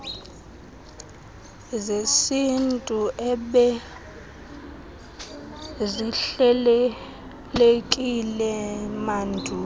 zesintu ebezihlelelekile mandulo